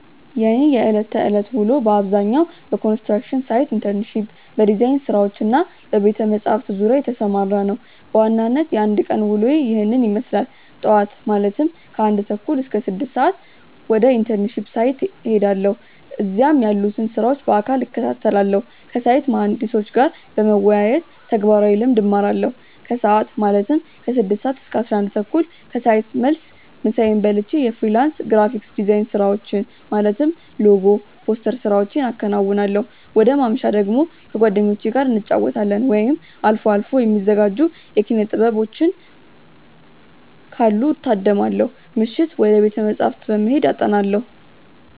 የእኔ የዕለት ተዕለት ውሎ በአብዛኛው በኮንስትራክሽን ሳይት ኢንተርንሺፕ፣ በዲዛይን ስራዎች እና በቤተ-መጻሕፍት ዙሪያ የተሰማራ ነው። በዋናነት የአንድ ቀን ውሎዬ ይህንን ይመስላል፦ ጧት (ከ1:30 - 6:00)፦ ወደ ኢንተርንሺፕ ሳይት እሄዳለሁ። እዚያም ያሉትን ስራዎች በአካል እከታተላለሁ። ከሳይት መሃንዲሶች ጋር በመወያየት ተግባራዊ ልምድ እማራለሁ። ከሰዓት (ከ6:00 - 11:00)፦ ከሳይት መልስ ምሳዬን በልቼ የፍሪላንስ ግራፊክ ዲዛይን ስራዎችን (ሎጎ፣ ፖስተር ስራዎቼን አከናውናለሁ። ወደ ማምሻ ደግሞ፦ ከጓደኞቼ ጋር እንጫወታለን፣ ወይም አልፎ አልፎ የሚዘጋጁ የኪነ-ጥበቦችን ካሉ እታደማለሁ። ምሽት፦ ወደ ቤተ-መጻሕፍት በመሄድ አጠናለሁ።